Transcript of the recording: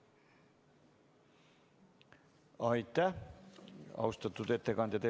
Aitäh, austatud ettekandja!